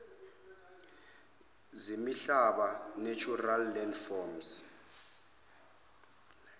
zemihlaba natural landforms